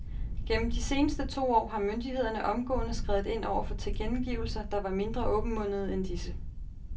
Gennem de seneste to år har myndighederne omgående skredet ind over for tilkendegivelser, der var mindre åbenmundede end disse.